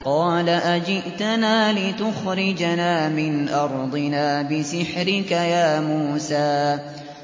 قَالَ أَجِئْتَنَا لِتُخْرِجَنَا مِنْ أَرْضِنَا بِسِحْرِكَ يَا مُوسَىٰ